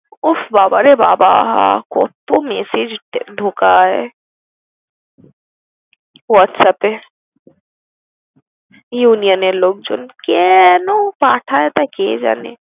উফফ বাবারে বাবা কত্তো messege যে ঢোকায় WhatsApp এ Union এর লোকজন। কেনো পাঠায় তা কে জানে?